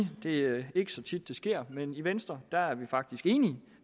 det ikke er så tit det sker men i venstre er vi faktisk enige